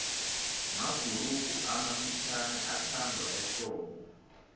mabhurugu amafutjhaniathandwa ehlobo